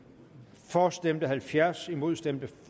for stemte halvfjerds imod stemte